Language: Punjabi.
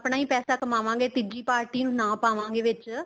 ਆਪਣਾ ਹੀ ਪੈਸਾ ਕਮਾਵਾਂਗੇ ਤੀਜੀ party ਨੂੰ ਨਾ ਪਾਵਾਗੇ ਵਿੱਚ